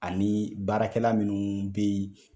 Ani baarakɛla minnu be yen